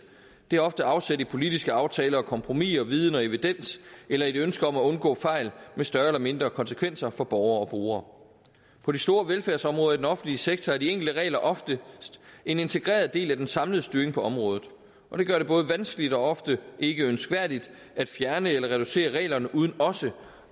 de har ofte afsæt i politiske aftaler og kompromiser viden og evidens eller et ønske om at undgå fejl med større eller mindre konsekvenser for borgere og brugere på de store velfærdsområder i den offentlige sektor er de enkelte regler ofte en integreret del af den samlede styring på området og det gør det både vanskeligt og ofte ikkeønskværdigt at fjerne eller reducere reglerne uden også